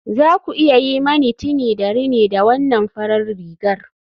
Za ku iya yi mani tini da rini da wannan farar rigar